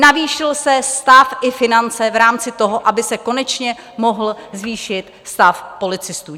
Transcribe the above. Navýšil se stav i finance v rámci toho, aby se konečně mohl zvýšit stav policistů.